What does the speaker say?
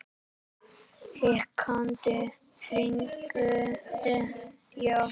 Hikandi hringdi ég aftur.